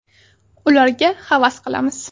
Ularga havas qilamiz.